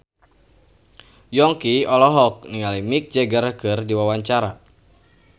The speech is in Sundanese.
Yongki olohok ningali Mick Jagger keur diwawancara